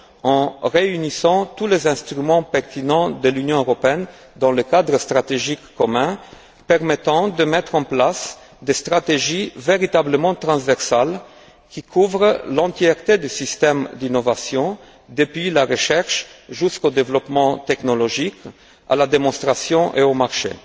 en réunissant tous les instruments pertinents de l'Union européenne dans un cadre stratégique commun permettant de mettre en place des stratégies véritablement transversales qui couvrent l'intégralité des systèmes d'innovation, depuis la recherche jusqu'au développement technologique, à la démonstration et au marché.